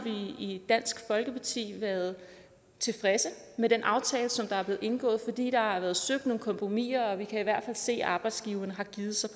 i dansk folkeparti været tilfredse med den aftale som er blevet indgået fordi der har været søgt nogle kompromiser og vi kan i hvert fald se at arbejdsgiverne har givet sig